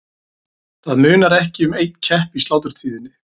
Það munar ekki um einn kepp í sláturtíðinni.